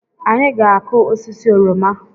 Anyị-ga akụ osisi oroma